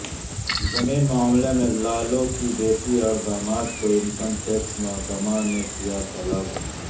زمین معاملے میں لالو کی بیٹی اور داماد کو انکم ٹیکس محکمہ نے کیا طلب